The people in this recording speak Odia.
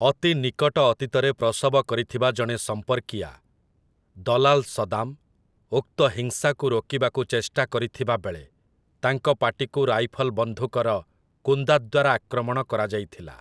ଅତି ନିକଟ ଅତୀତରେ ପ୍ରସବ କରିଥିବା ଜଣେ ସମ୍ପର୍କୀୟା, ଦଲାଲ୍ ସଦାମ୍, ଉକ୍ତ ହିଂସାକୁ ରୋକିବାକୁ ଚେଷ୍ଟା କରିଥିବାବେଳେ ତାଙ୍କ ପାଟିକୁ ରାଇଫଲ୍ ବନ୍ଧୁକର କୁନ୍ଦା ଦ୍ୱାରା ଆକ୍ରମଣ କରାଯାଇଥିଲା ।